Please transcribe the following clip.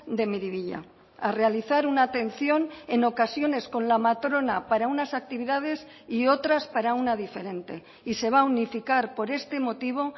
de miribilla a realizar una atención en ocasiones con la matrona para unas actividades y otras para una diferente y se va a unificar por este motivo